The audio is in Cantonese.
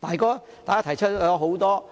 大家提出了很多